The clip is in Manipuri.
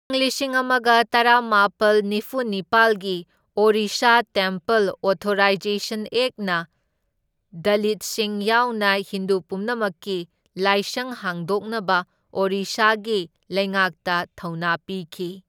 ꯏꯪ ꯂꯤꯁꯤꯡ ꯑꯃꯒ ꯇꯔꯥꯃꯥꯄꯜ ꯅꯤꯐꯨ ꯅꯤꯄꯥꯜꯒꯤ ꯑꯣꯔꯤꯁꯥ ꯇꯦꯝꯄꯜ ꯑꯣꯊꯣꯔꯥꯏꯖꯦꯁꯟ ꯑꯦꯛꯠꯅ ꯗꯂꯤꯠꯁꯤꯡ ꯌꯥꯎꯅ ꯍꯤꯟꯗꯨ ꯄꯨꯝꯅꯃꯛꯀꯤ ꯂꯥꯏꯁꯪ ꯍꯥꯡꯗꯣꯛꯅꯕ ꯑꯣꯔꯤꯁꯥꯒꯤ ꯂꯩꯉꯥꯛꯇ ꯊꯧꯅꯥ ꯄꯤꯈꯤ꯫